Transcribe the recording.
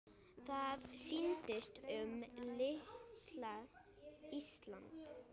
Það snýst um litla Ísland.